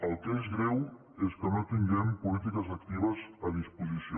el que és greu és que no tinguem polítiques actives a disposició